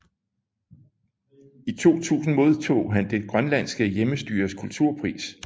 I 2000 modtog han Det Grønlandske Hjemmestyres Kulturpris